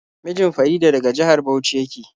Mijin Farida daga jihar Bauchi yake.